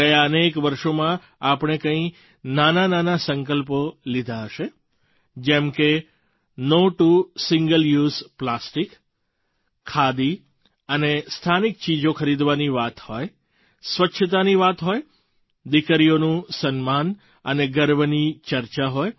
ગયાં અનેક વર્ષોમાં આપણે કંઈ નાનાનાના સંકલ્પો લીધા હશે જેમ કે no to single use plastic khadi અને સ્થાનિક ચીજો ખરીદવાની વાત હોય સ્વચ્છતાની વાત હોય દીકરીઓનું સન્માન અને ગર્વની ચર્ચા હોય